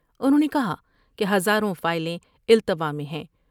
انہوں نے کہا کہ ہزاروں فائلیں التوا میں ہیں ۔